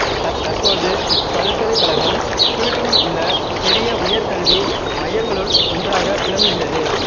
தற்பொழுது இப்பல்கலைக்கழகம் சுவீடனிலுள்ள பெரிய உயர்கல்வி மையங்களுள் ஒன்றாக விளங்குகிறது